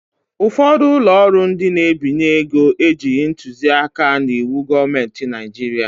Ụfọdụ ụlọ ọrụ ndị n'ebinye ego ejighị ntuzi aka n'iwu gọọmenti Naijiria